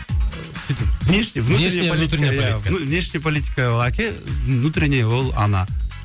внешний политика ол әке внутренний ол ана